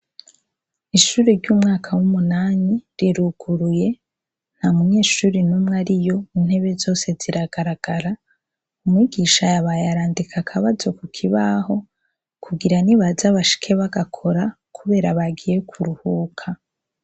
Ishuri ry'umwaka w'umunani riruguruye nta munyeshuri numwe ari yo intebe zose ziragaragara, umwigisha yabay arandika akabazo ku kibaho kugira ni baza abashike bagakora, kubera bagiye kuruhuka.